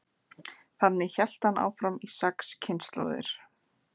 þannig hélt hann áfram í sex kynslóðir